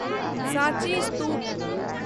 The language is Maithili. साँची स्तूप